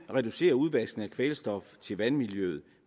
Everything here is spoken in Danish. reducere udvaskningen af kvælstof til vandmiljøet